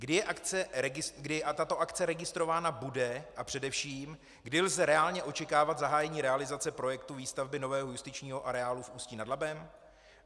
Kdy tato akce registrována bude a především kdy lze reálně očekávat zahájení realizace projektu výstavby nového justičního areálu v Ústí nad Labem?